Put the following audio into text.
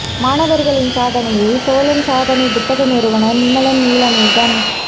மாணவர்களின் சாதனையை சோழன் சாதனை புத்தக நிறுவனர் நிமலன் நீலமேகம்